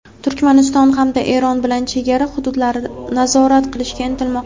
Turkmaniston hamda Eron bilan chegara hududlarini nazorat qilishga intilmoqda.